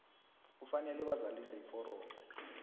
kufanele bazalise iforomo